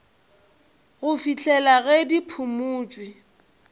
go fihlela ge di phumotšwe